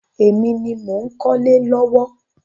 Èmi ni mò ń kọ́lé lọ́wọ́.